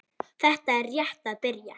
Þetta er rétt að byrja.